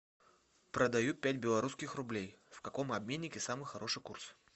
продаю пять белорусских рублей в каком обменнике самый хороший курс